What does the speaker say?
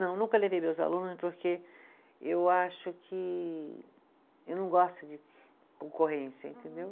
Não, nunca levei meus alunos, porque eu acho que, eu não gosto de concorrência, entendeu?